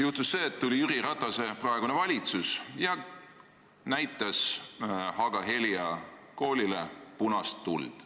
Juhtunud on see, et Jüri Ratase praegune valitsus näitas Haaga-Helia koolile punast tuld.